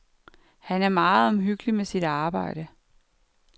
Han er meget omhyggelig med sit arbejde.